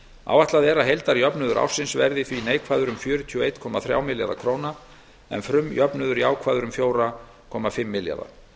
áætlað er að heildarjöfnuður ársins verði því neikvæður um fjörutíu og einn komma þrjá milljarða króna en frumjöfnuður jákvæður um fjóra komma fimm milljarða